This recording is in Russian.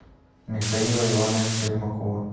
михаила ивановича ермакова